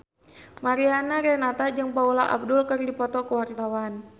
Mariana Renata jeung Paula Abdul keur dipoto ku wartawan